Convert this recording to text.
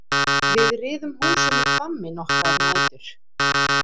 Við riðum húsum í Hvammi nokkrar nætur.